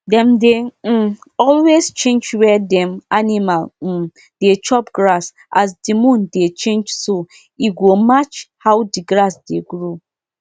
um people wey dey breed animal dey always keep parent stock make dem fit use cross breed and dey improve um quality small small.